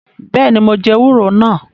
Beeni, mo jẹ ewúro nàá